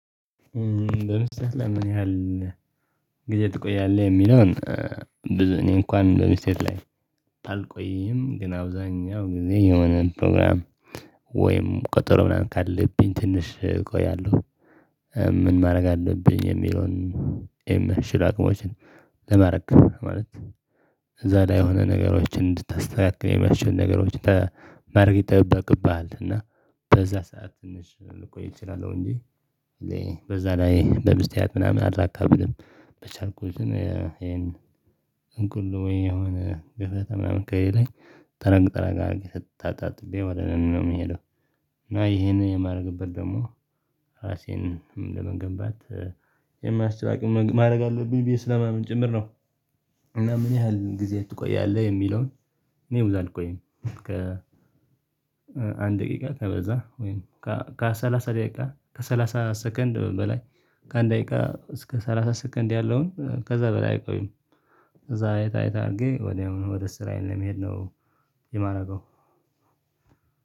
ለብቻክ ለምን ያህል ጊዜ ትቆያለህ የሚለውን? እኔ እንኳን በቤት ላይ አልቆይም ግን አብዛኛው ጊዜ የሆነ ፕሮግራም ወይም ቀጠሮ ምናምን ካለብኝ ትንሽ እቆያለሁ። ምን ማድረግ አለብኝ የሚለውን? ይሄም በምችል አቅሞችን ለማድረግ ማለት እዛ ላይ የሆነ ነገሮችን እንድታስተካክል የሚያስችል ነገሮችን ማረግ ይጠበቅብሃል። እና በዛ ሰዓት ትንሽ ልቆይ እችላለሁ እንጂ በዛ ላይ በምስጢራት ምናምን አላካብድም። በቻልኩትም ይሄን እንኩል ወይ የሆነ ግፈተ ምናምን ከየሌ ላይ ጠረግ ጠረግ አድርጌ ስታጣጥልኝ ወደ ለኔ ቤት የምሄደው እና ይሄንን የማደርግበት ደግሞ ራሴን ለመገንባት የማያስችል ማድረግ አለብኝ ብዬ ለምን ጭምር ነው እና ምን ያህል ጊዜ ትቆያለህ የሚለውን እኔ ብዙ አልቆይም። ከ አንድ ደቂቃ ከበዛ ወይም ከሰላሳ ደቂቃ ከሰላሳ ሰከንድ በላይ ከአንድ ደቂቃ እስከ ሰላሳ ሰኮንድ ያለውን ከዛ በላይ አይቆይም። ከዛ አይት አይት አድርጌ ወዲያውኑ ወደ ስራዬ ለመሄድ ነው የማደርገው።